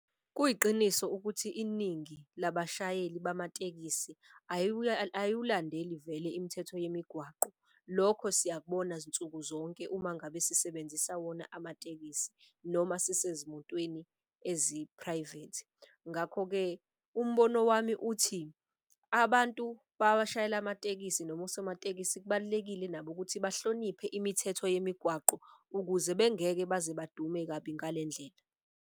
Kuyiqiniso ukuthi iningi labashayeli bamatekisi ayiwulandeli vele imithetho yemigwaqo. Lokho siyakubona zinsuku zonke uma ngabe sisebenzisa wona amatekisi noma sisezimotweni ezi-private. Ngakho-ke, umbono wami uthi abantu babashayela amatekisi noma osomatekisi kubalulekile nabo ukuthi bahloniphe imithetho yemigwaqo, ukuze bengeke baze badume kabi ngale ndlela.